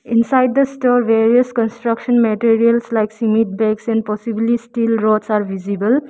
inside the store various construction materials like and possibly steel rods are visible.